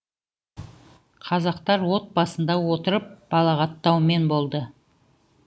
казактар от басында отырып балағаттаумен болды